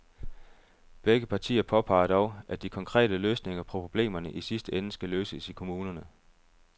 Begge partier påpeger dog, at de konkrete løsninger på problemerne i sidste ende skal løses i kommunerne.